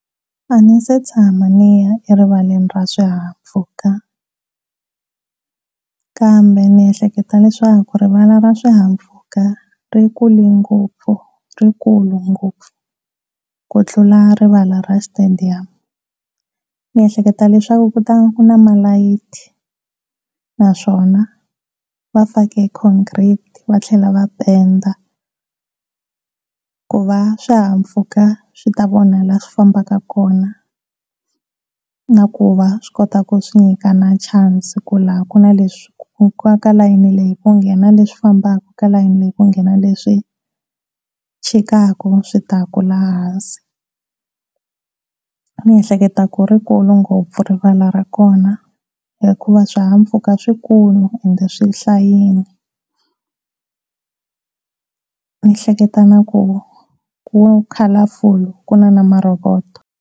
A ndzi se tshama ndzi ya erivaleni ra swihahampfhuka kambe ndziehleketa leswaku rivala ra swihahampfhuka rikule ngopfu rikulu ngopfu ku tlula rivala ra Stadium niehleketa leswaku ku ta ku na malayithi naswona va fake congrete va tlhela va penda ku va swihahampfhuka swi ta vona laha swifambaka kona na ku va swi kotaku swi nyikana chance ku la ku na leswi ka layeni leyi ku nghena leswi fambaka ka layeni leyi ku nghena leswi chikaka swi ta ku laha hansi. Ndzi ehleketo ku ri kulu ngopfu rivala ra kona hikuva swihahampfhuka swikulu ende swihlayini ndzi ehleketo ku ku colorful ende ku na na maroboto.